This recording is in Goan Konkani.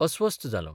अस्वस्थ्य जालों.